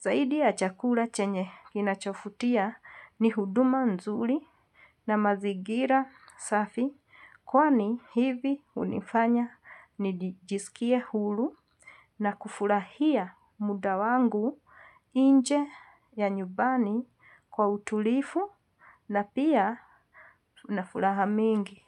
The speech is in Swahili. Zaidi ya chakula chenye kinachofutia ni huduma nzuri na mazigira safi kwani hivi unifanya nijisikie hulu na kufurahia muda wangu inje ya nyubani kwa utulifu na pia unafulaha mingi.